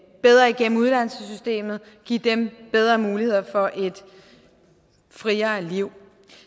bedre igennem uddannelsessystemet give dem bedre muligheder for et friere liv